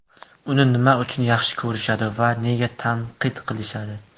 Uni nima uchun yaxshi ko‘rishadi va nega tanqid qilishadi?